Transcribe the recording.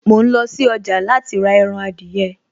Mò ń lọ sí ọjà láti rà ẹran adìyẹ